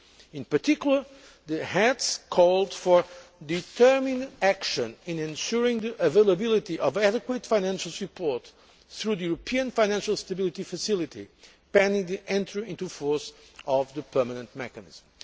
In particular, the Heads called for determined action in ensuring the availability of adequate financial support through the European Financial Stability Facility pending the entry into force of the permanent mechanism.